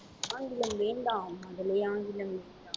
ஆங்கிலம் வேண்டாம் மகளே ஆங்கிலம்.